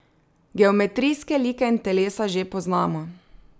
Geometrijske like in telesa že poznamo.